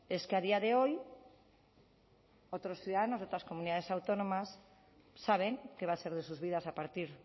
es que a día de hoy otros ciudadanos de otras comunidades autónomas saben qué va a ser de sus vidas a partir